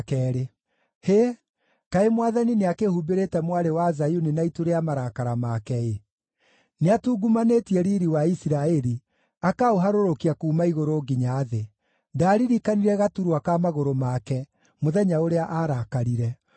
Hĩ! Kaĩ Mwathani nĩakĩhumbĩrĩte Mwarĩ wa Zayuni na itu rĩa marakara make-ĩ! Nĩatungumanĩtie riiri wa Isiraeli, akaũharũrũkia kuuma igũrũ nginya thĩ; ndaaririkanire gaturwa ka magũrũ make, mũthenya ũrĩa aarakarire.